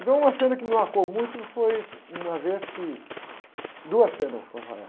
Então uma cena que me marcou muito foi uma vez que... Duas cenas com essa égua.